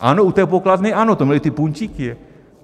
Ano, u té pokladny ano, to měli ty puntíky.